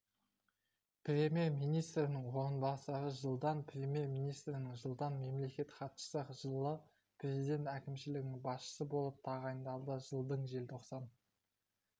премьер-министрінің орынбасары жылдан премьер-министрі жылдан мемлекеттік хатшысы жылы президент әкімшілігінің басшысы болып тағайындалды жылдың желтоқсан